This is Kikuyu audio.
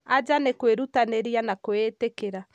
anja nĩ kwĩrutanĩria na kwĩĩtĩkia